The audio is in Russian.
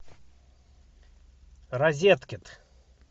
розеткед